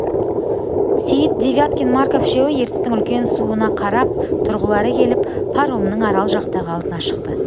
сейіт девяткин марков үшеуі ертістің үлкен суына қарап тұрғылары келіп паромның арал жақтағы алдына шықты